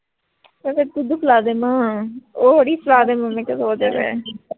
ਇਹ ਦੁੱਧ ਪਿਲਾ ਦੇਵਾਂ ਓਹੋ ਅੜੀਏ ਪਿਲਾ ਦਿਨੀ ਐਂ ਮੈਂ ਕਿਹਾ ਸੋ ਜਾਵੇ